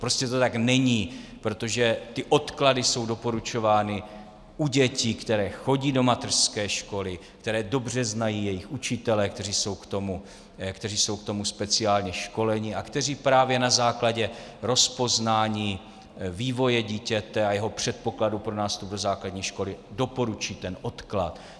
Prostě to tak není, protože ty odklady jsou doporučovány u dětí, které chodí do mateřské školy, které dobře znají jejich učitelé, kteří jsou k tomu speciálně školení a kteří právě na základě rozpoznání vývoje dítěte a jeho předpokladu pro nástup do základní školy doporučí ten odklad.